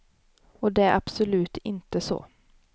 Och det är absolut inte så.